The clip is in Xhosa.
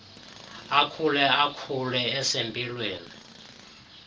akhule akhule esempilweni